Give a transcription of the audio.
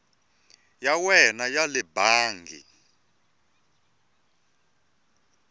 ya wena ya le bangi